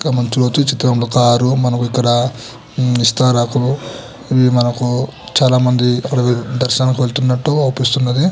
ఇక్కడ ఒక కార్ లో చాల ఇస్కతరు ఉన్నాయ్.